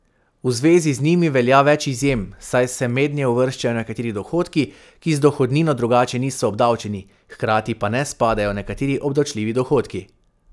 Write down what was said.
V zvezi z njimi velja več izjem, saj se mednje uvrščajo nekateri dohodki, ki z dohodnino drugače niso obdavčeni, hkrati pa ne spadajo nekateri obdavčljivi dohodki.